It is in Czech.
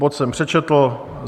Bod jsem přečetl.